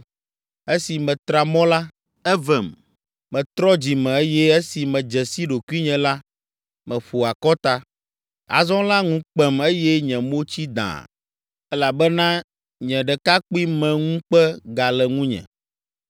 Esi metra mɔ la, evem, metrɔ dzi me eye esi medze si ɖokuinye la, meƒo akɔta. Azɔ la ŋu kpem eye nye mo tsi dãa elabena nye ɖekakpuimeŋukpe gale ŋunye!’